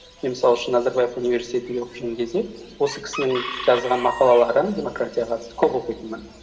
мен мысал үшін назарбаев университетінде оқып жүрген кезде осы кісінің жазған мақалаларын демократияға қатысты көп оқитынмын